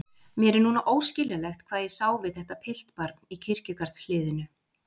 Mér er núna óskiljanlegt hvað ég sá við þetta piltbarn í kirkjugarðshliðinu.